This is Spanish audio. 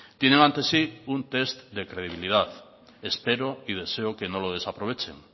tienen ante sí un test de credibilidad espero y deseo que no le desaprovechen